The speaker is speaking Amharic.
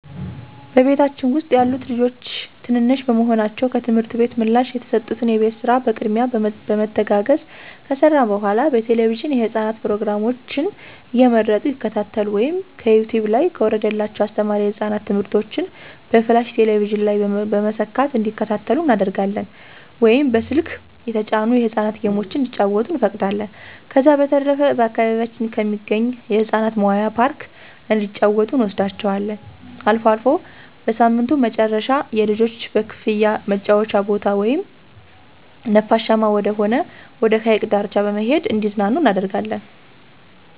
በቤታችን ውስጥ ያሉት ልጆች ትንንሽ በመሆናቸው ከትምህርት ቤት ምላሽ የተሰጡትን የቤት ስራ በቅድሚያ በመተጋገዝ ከሰራን በኃላ በቴለቪዥን የህፃናት ፕሮግራሞችን እየመረጡ ይከታተሉ ወይም ከዩቲውብ ላይ ከወረደላቸው አስተማሪ የህፃናት ትምህርቶችን በፍላሽ ቴሌቪዥን ላይ በመሰካት እንዲከታተሉ እናደርጋለን ወይም በስልክ የተጫኑ የህፃናት ጌሞችን እንዲጫወቱ እንፈቅዳለን። ከዛ በተረፈ በአካባቢያችን ከሚገኝ የህፃናት መዋያ ፓርክ እንዲጫወቱ እንወስዳቸዋለን። አልፎ አልፎ በሳምንቱ መጨረሻ የልጆች በክፍያ መጫወቻ ቦታ ወይም ነፋሻማ ወደሆነ ወደ ሀይቅ ዳርቻ በመሄድ እንዲዝናኑ እናደርጋለን።